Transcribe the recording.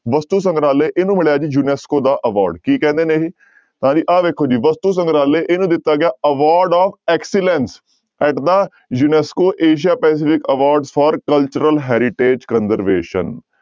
ਵਸਤੂ ਸੰਗਰਾਲਹ ਇਹਨੂੰ ਮਿਲਿਆ ਜੀ ਯੁਨੈਸਕੋ ਦਾ award ਕੀ ਕਹਿੰਦੇ ਨੇ ਇਹ, ਤਾਂ ਜੀ ਆਹ ਵੇਖੋ ਜੀ ਵਸਤੂ ਸੰਗਰਾਲਹ ਇਹਨੂੰ ਦਿੱਤਾ ਗਿਆ award of excellence at the UNESCO Asia Pacific award for cultural heritage conservation